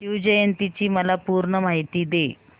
शिवजयंती ची मला पूर्ण माहिती दे